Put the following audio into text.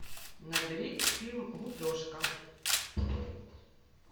набери фильм гупешка